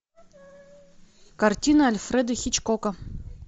картина альфреда хичкока